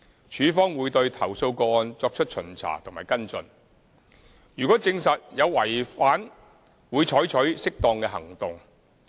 署方會對投訴個案作出巡查和跟進，如果證實有違反會採取適當的行動。